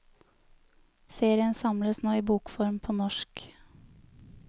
Serien samles nå i bokform på norsk.